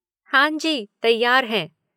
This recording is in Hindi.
हाँ जी, तैयार हैं।